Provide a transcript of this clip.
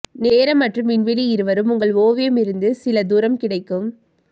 நேரம் மற்றும் விண்வெளி இருவரும் உங்கள் ஓவியம் இருந்து சில தூரம் கிடைக்கும்